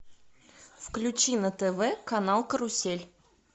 включи на тв канал карусель